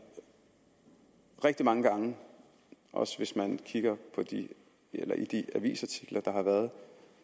rigtig mange gange også hvis man kigger i de avisartikler der har været